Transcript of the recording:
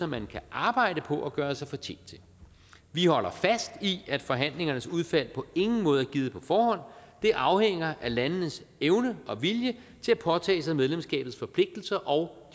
man kan arbejde på at gøre sig fortjent til vi holder fast i at forhandlingernes udfald på ingen måde er givet på forhånd det afhænger af landenes evne og vilje til at påtage sig medlemskabets forpligtelser og